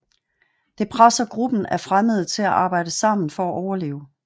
Det presser gruppen af fremmede til at arbejde sammen for at overleve